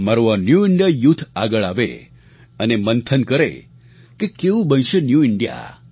મારું આ new India youth આગળ આવે અને મંથન કરે કે કેવું બનશે ન્યૂ ઇન્ડિયા